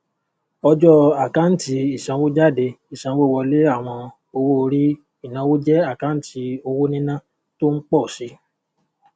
ọjọ àkáǹtì ìsanwójáde ìsanwówọlé àwọn owóorí ìnáwó jẹ àkáǹtì owó níná tó ń pọ sí i